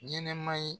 Ɲɛnɛma ye